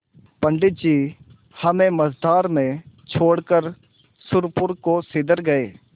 पंडित जी हमें मँझधार में छोड़कर सुरपुर को सिधर गये